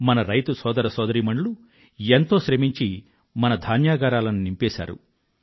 మన రైతు సోదర సోదరీమణులు ఎంతో శ్రమించి మన ధాన్యాగారాలను నింపేశారు